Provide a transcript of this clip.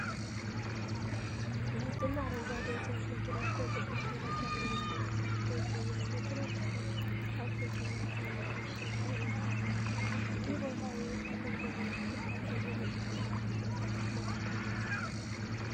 ነጭና አረንጓዴ የጭነት መኪናዎች በክብደት መለኪያ ቦታ ላይ ተሰልፈው ይገኛሉ። መኪናዎቹ ከብቶች የሚጫኑባቸው ሳጥኖች አሏቸው። ይህ ቦታ የእቃ ክብደት የሚለካበት የንግድ ሥራ ማዕከል ነው።